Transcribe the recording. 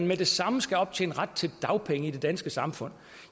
med det samme skal optjene ret til dagpenge i det danske samfund